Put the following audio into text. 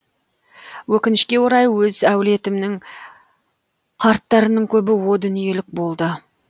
өкінішке орай өз әулетімнің қарттарының көбі о дүниелік болды